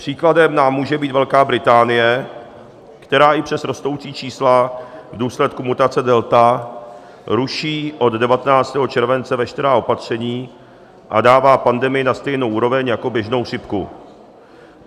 Příkladem nám může být Velká Británie, která i přes rostoucí čísla v důsledku mutace delta ruší od 19. července veškerá opatření a dává pandemii na stejnou úroveň jako běžnou chřipku.